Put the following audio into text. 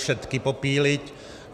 Všetky popíliť!